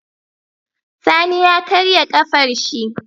Sani ya karya kafar shi